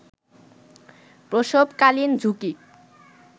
প্রসবকালীন ঝুঁকি